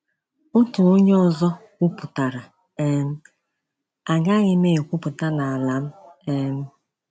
Otu onye ọzọ kwuputara: um “Agaghị m ekwuputa n’ala m!” um